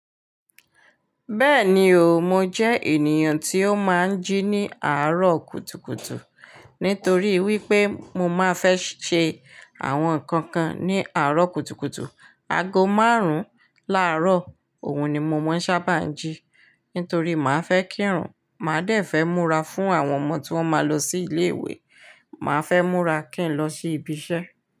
Bẹ́ẹ̀ ni o, mo jẹ́ ènìyàn tí ó máa ń jí ní àárọ̀ kùtùkùtù, nítorí wípé mo máa fẹ́ ṣe àwọn ǹkan kan ní àárọ̀ kùtùkùtù. Ago márùn-ún láàárọ̀, òun ni mo máa ń sábà jí, nítorí mo máa fẹ́ kírun, màá dẹ̀ fẹ́ múra fún àwọn ọmọ tí wọ́n máa lọ sí ilé-ìwé, màá fẹ́ múra kí n lọ sí ibi iṣẹ́.